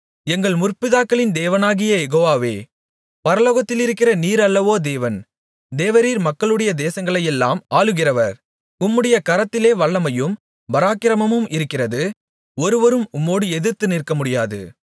எங்கள் முற்பிதாக்களின் தேவனாகிய யெகோவாவே பரலோகத்திலிருக்கிற நீர் அல்லவோ தேவன் தேவரீர் மக்களுடைய தேசங்களையெல்லாம் ஆளுகிறவர் உம்முடைய கரத்திலே வல்லமையும் பராக்கிரமமும் இருக்கிறது ஒருவரும் உம்மோடு எதிர்த்து நிற்கமுடியாது